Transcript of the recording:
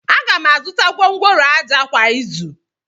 Aga m azụta gwongworo ájá kwa izu.